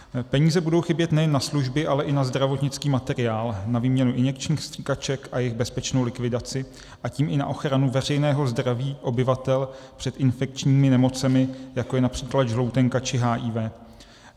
Peníze budou chybět nejen na služby, ale i na zdravotnický materiál, na výměnu injekčních stříkaček a jejich bezpečnou likvidaci, a tím i na ochranu veřejného zdraví obyvatel před infekčními nemocemi, jako je například žloutenka či HIV.